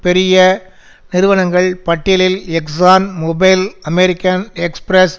பெரிய நிறுவனங்கள் பட்டியலில் எக்ஸான் மொபில் அமெரிக்கன் எக்ஸ்பிரஸ்